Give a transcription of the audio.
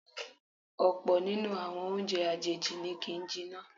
Ọ̀pọ̀ nínú àwọn oúnjẹ àjèjì ni kì ń jiná.